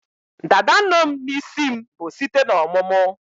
Dada no'm -n'isim bu site n'ọmụmụ